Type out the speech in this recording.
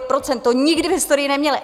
To nikdy v historii neměly.